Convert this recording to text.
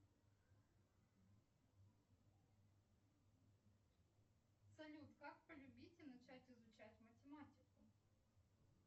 салют как полюбить и начать изучать математику